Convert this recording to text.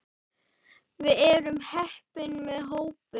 Við erum heppin með hópinn.